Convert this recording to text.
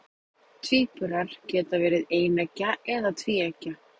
tvíburar geta verið eineggja eða tvíeggja